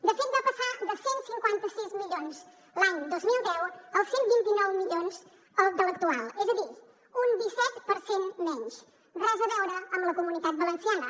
de fet va passar de cent i cinquanta sis milions l’any dos mil deu als cent i vint nou milions de l’actual és a dir un disset per cent menys res a veure amb la comunitat valenciana